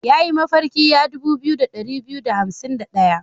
Ya yi mafarki ya dubu biyu da ɗari biyu da hansim da ɗaya.